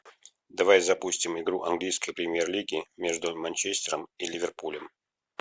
давай запустим игру английской премьер лиги между манчестером и ливерпулем